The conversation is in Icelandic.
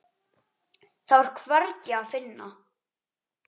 Þá er hvergi að finna.